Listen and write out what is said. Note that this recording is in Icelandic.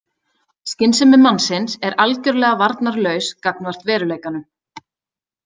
Skynsemi mannsins er algjörlega varnarlaus gagnvart veruleikanum.